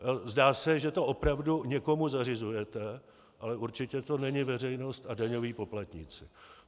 Zdá se, že to opravdu někomu zařizujete, ale určitě to není veřejnost a daňoví poplatníci.